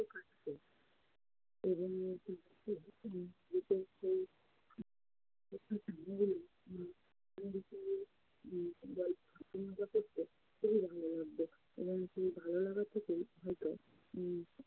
ভালো লাগবে এবং সেই ভালো লাগা থেকেই হয়তো